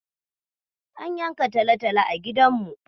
An yanka talotalo a gidanmu.